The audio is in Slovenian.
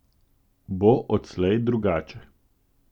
Bo odslej drugače?